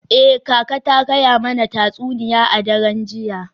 Eh, kaka ta gaya mana tatsuniya a daren jiya.